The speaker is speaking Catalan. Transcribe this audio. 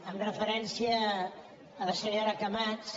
amb referència a la senyora camats